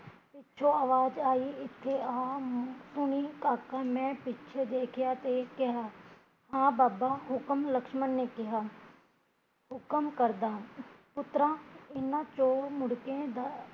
ਪਿੱਛੋਂ ਆਵਾਜ਼ ਆਈ, ਇੱਥੇ ਆ ਹੁਣੀ ਕਾਕਾ, ਮੈਂ ਪਿੱਛੇ ਦੇਖਿਆ ਤੇ ਕਿਹਾ ਹਾਂ ਬਾਬਾ ਹੁਕਮ, ਲਖਸਮਨ ਨੇ ਕਿਹਾ, ਹੁਕਮ ਕਰਦਾ ਪੁੱਤਰਾਂ ਇਹਨਾਂ ਚੋਂ ਮੁੜਕੇ ਦਾ